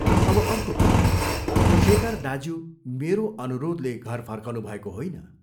अब अर्को कुरा शेखर दाज्यू मेरो अनुरोधले घर फर्कनुभएको होइन।